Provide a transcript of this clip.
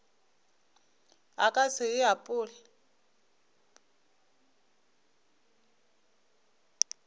a ka se e apole